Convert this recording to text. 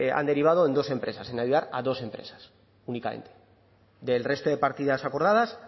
han derivado en dos empresas en ayudar a dos empresas únicamente del resto de partidas acordadas